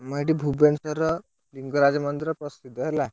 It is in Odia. ଆମ ଏଠି ଭୁବନେଶ୍ୱରର ଲିଙ୍ଗରାଜ ମନ୍ଦିର ପ୍ରସିଦ୍ଧ ହେଲା।